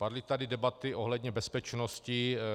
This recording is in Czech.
Padly tady debaty ohledně bezpečnosti.